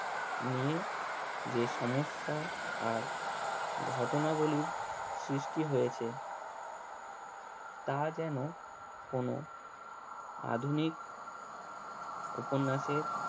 নিয়ে যে সমস্যা আর ঘটনা গুলির সৃষ্টি হয়েছে তা যেন কোনো আধুনিক উপন্যাসের